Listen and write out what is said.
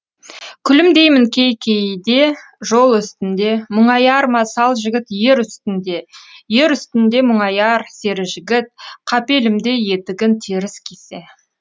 күлімдеймін кей кейде жол үстінде мұңаяр ма сал жігіт ер үстінде ер үстінде мұңаяр сері жігіт қапелімде етігін теріс кисе